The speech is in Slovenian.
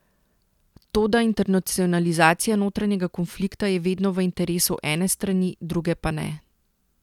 Toda internacionalizacija notranjega konflikta je vedno v interesu ene strani, druge pa ne.